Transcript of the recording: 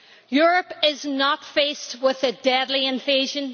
Europe is not faced with a deadly invasion.